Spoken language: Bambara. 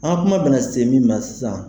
An ka kuma bɛna se min ma sisan